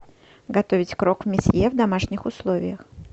готовить крок месье в домашних условиях